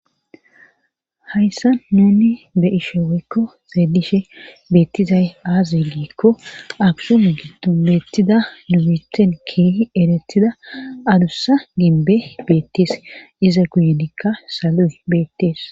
hayssa nuni be'ishe weykkoeedishe beettizay aazilikko aksun gidu mettida nubithen keehi eretida adussa gimbe beettees iza guyenikka salu beettees